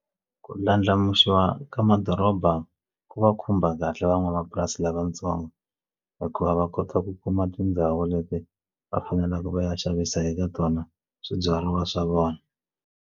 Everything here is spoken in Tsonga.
Ku ndlandlamuxiwa ka madoroba ku va khumba kahle van'wamapurasi lavatsongo hikuva va kota ku kuma tindhawu leti va faneleke va ya xavisa eka tona swibyariwa swa vona.